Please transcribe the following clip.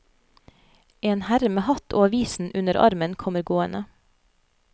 En herre med hatt og avisen under armen kommer gående.